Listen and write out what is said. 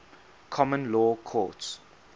common law courts